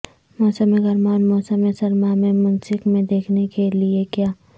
موسم گرما اور موسم سرما میں منسک میں دیکھنے کے لئے کیا